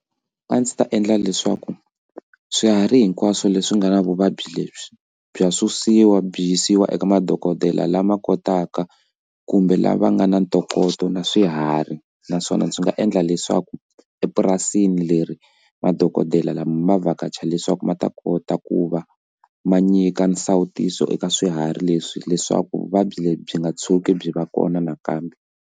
A ndzi ta endla leswaku swiharhi hinkwaswo leswi nga na vuvabyi lebyi bya susiwa byi yisiwa eka madokodela lama kotaka kumbe lava nga na ntokoto na swiharhi naswona byi nga endla leswaku epurasini leri madokodela lama ma vhakacha leswaku ma ta kota ku va ma nyika nsawutiso eka swiharhi leswi leswaku vuvabyi lebyi byi nga tshuki byi va kona nakambe.